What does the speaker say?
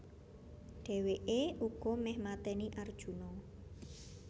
Dhèwèké uga méh maténi Arjuna